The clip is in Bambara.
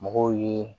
Mɔgɔw ye